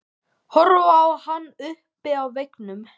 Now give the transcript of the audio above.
Horfir á hana uppi á veggnum.